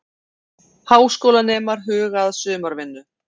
Háskólanemar huga að sumarvinnu